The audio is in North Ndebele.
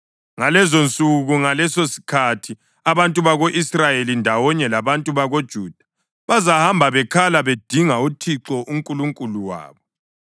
Ngalezonsuku, ngalesosikhathi, abantu bako-Israyeli ndawonye labantu bakoJuda bazahamba bekhala bedinga uThixo uNkulunkulu wabo.